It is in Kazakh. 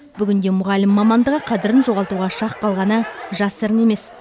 бүгінде мұғалім мамандығы қадірін жоғалтуға шақ қалғаны жасырын емес